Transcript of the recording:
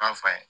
N'a fa ye